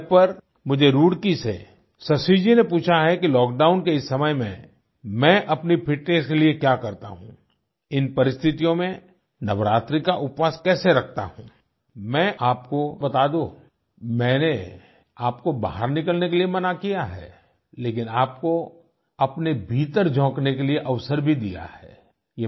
नमो app पर मुझे रुड़की से शशि जी ने पूछा है कि लॉकडाउन के समय में मैं अपनी फिटनेस के लिए क्या करता हूँ इन परिस्थितियों में नवरात्रि का उपवास कैसे रखता हूँ मैं एक बार और आपको बता दूँ मैंने आपको बाहर निकलने के लिए मना किया है लेकिन आपको अपने भीतर झाँकने के लिए अवसर भी दिया है